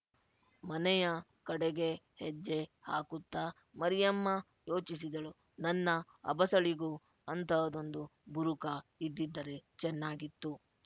ಮನೆಯ ಕಡೆಗೆ ಹೆಜ್ಜೆ ಹಾಕುತ್ತಾ ಮರಿಯಮ್ಮ ಯೋಚಿಸಿದಳು ನನ್ನ ಅಬಸಳಿಗೂ ಅಂತಹದೊಂದು ಬುರುಕಾ ಇದ್ದಿದ್ದರೆ ಚೆನ್ನಾಗಿತ್ತು